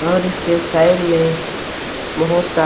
और इसके साइड में बहुत सा--